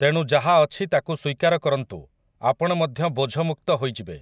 ତେଣୁ ଯାହା ଅଛି ତାକୁ ସ୍ୱୀକାର କରନ୍ତୁ, ଆପଣ ମଧ୍ୟ ବୋଝମୁକ୍ତ ହୋଇଯିବେ ।